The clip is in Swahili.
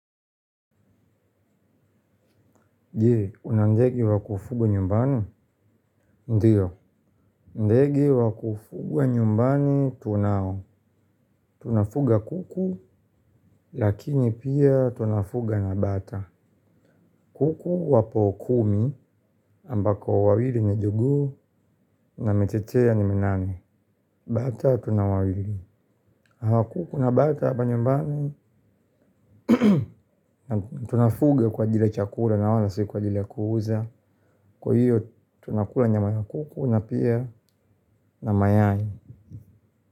Je, una ndege wa kufugwa nyumbani? Ndiyo, ndege wa kufugwa nyumbani tunao. Tunafuga kuku, lakini pia tunafuga na bata. Kuku wapo kumi ambako wawili ni jogoo na michechea ni minane. Bata tuna wawili. Kuku na bata hapa nyumbani tunafunga kwa ajili ya chakula na wala si kwa ajili ya kuuza. Kwa hiyo tunakula nyama ya kuku na pia na mayai.